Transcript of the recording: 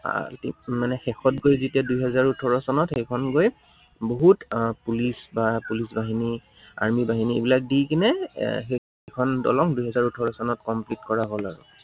আহ মানে শেষত গৈ যেতিয়া দুহেজাৰ ওঠৰ চনত সেইখন গৈ, বহুত police বা police বাহিনী, army বাহিনী এইবিলাক দি কেনে এৰ সেইখন দলং দুহেজাৰ ওঠৰ চনত complete কৰা হল আৰু।